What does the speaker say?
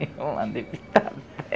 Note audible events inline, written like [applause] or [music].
Eu andei pitada. [laughs]